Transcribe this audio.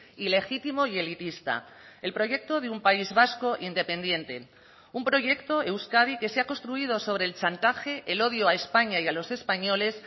ilegítimo y elitista el proyecto de un país vasco independiente un proyecto euskadi que se ha construido sobre el chantaje el odio a españa y a los españoles